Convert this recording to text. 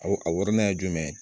Aw a wɔrɔnan ye jumɛn ye